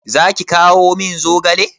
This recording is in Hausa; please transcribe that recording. Zaki kawo min zogale?